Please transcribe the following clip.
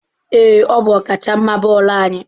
Ee, ọ bụ ọkachamma bọọlụ anyị.